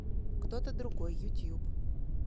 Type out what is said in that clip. кто то другой ютуб